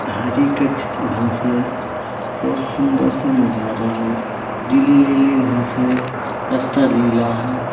हरि कुछ घास है बहुत सुंदरसा नजारा है गीली-गीली घास है रस्ता गिला है।